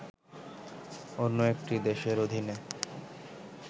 অন্য একটি দেশের অধীনে